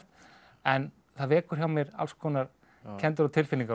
en það vekur hjá mér alls konar kenndir og tilfinningar